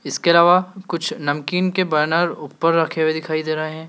इसके अलावा कुछ नमकीन के बैनर ऊपर रखे हुए दिखाई दे रहे हैं।